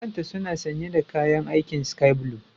Akanta suna sanye da kayan aikin Sky blue.